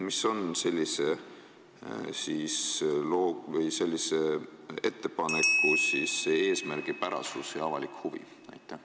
Mis on sellise ettepaneku eesmärk ja avalik huvi?